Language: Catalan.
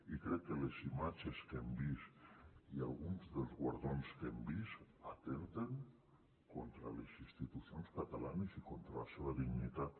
i crec que les imatges que hem vist i alguns dels guardons que hem vist atempten contra les institucions catalanes i contra la seva dignitat